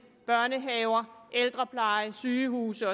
børnehaver ældrepleje og sygehuse